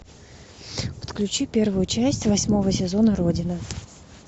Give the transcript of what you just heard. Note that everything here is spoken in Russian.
подключи первую часть восьмого сезона родина